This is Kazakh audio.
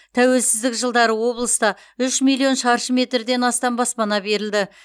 тәуелсіздік жылдары облыста үш миллион шаршы метрден астам баспана берілді